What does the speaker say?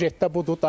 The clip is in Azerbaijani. Süjetdə budur.